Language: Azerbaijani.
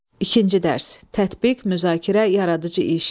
İkinci dərs: Tətbiq, müzakirə, yaradıcı iş.